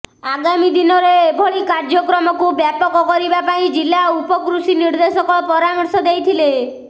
ଆଗାମୀ ଦିନରେ ଏଭଳି କାର୍ଯ୍ୟକ୍ରମକୁ ବ୍ୟାପକ କରିବା ପାଇଁ ଜିଲ୍ଲା ଉପକୃଷି ନିର୍ଦ୍ଦେଶକ ପରାମର୍ଶ ଦେଇଥିଲେ